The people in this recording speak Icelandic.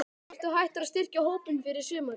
Ertu hættur að styrkja hópinn fyrir sumarið?